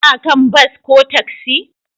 Ka kan bas ko taksi?